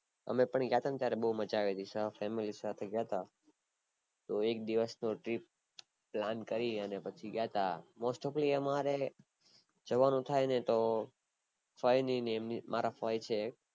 અમે પણ ગયા હતા ને ત્યારે બૌ મજા આવી હતી તો એક દિવસ નું plan કરીને પછી ગયા હતા mostofly અમારે જવાનું થાય ને તો ફય ને, મારા ફય છે એક